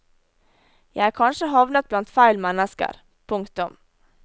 Jeg er kanskje havnet blant feil mennesker. punktum